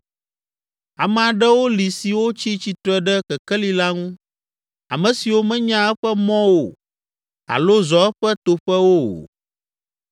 “Ame aɖewo li siwo tsi tsitre ɖe kekeli la ŋu, ame siwo menya eƒe mɔwo alo zɔ eƒe toƒewo o.